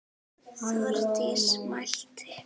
Þórdís mælti: